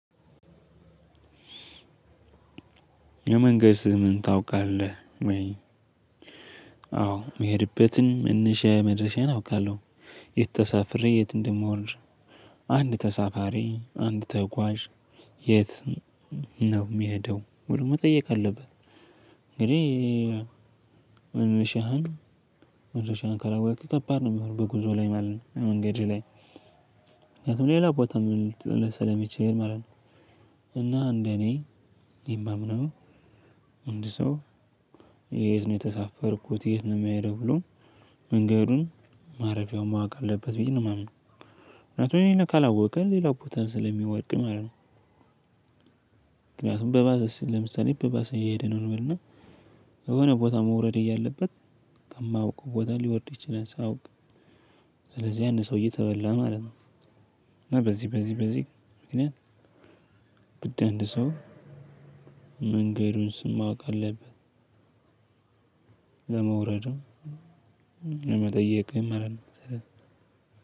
የመንገድ ስምህን ታውቃለህ ወይ? አዎ ሚሄድበትን መነሻዬ መድረሻዬን አውቃለሁ። የት ተሳፍሬ የት እንደምወርደ? አንድ ተሳፋሪ አንድ ተጓዥ የት ነው የሚሄደው ብሎ መጠየቅ አለበት። እንግዲህ መነሻህን መደረሻህን ካላወክ ከባድ ሚሆነው በጉዞ ላይ ማለት ነው። በመንገድህ ላይ ምክንያቱም ሌላ ቦታ ልጥልህ ሰለሚችል ማለት ነው። እና እንደኔ የማምነው እንድ ሰው የት ነው የተሳፈርኩት የት ነው የሚሄደው ብሎ መንገዱን ማረፊያውን ማወቅ አለበት ብዬ ነው የማምነው። ምክንያቱም ይሄንን ካላወቀ ሌላ ቦታ ስለሚወድቅ ማለት ነው። ምክንያቱም በባስ ለምሳሌ በባስ እየሄደ ነው እንበል እና የሆነ ቦታ መውረድ እያለበት ከማያውቀው ቦታ ሊወርድ ይችላል ሳያውቅ። ስለዚህ ያ ሰውዬ ተበላ ማለት ነው። እና በዚ በዚ በዚ ምክንያት ግድ አንድ ሰው የመንገዱን ስም ማወቅ አለበት። ለመውረድም ለመጠየቅም አይደለም።